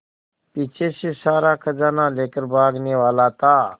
पीछे से सारा खजाना लेकर भागने वाला था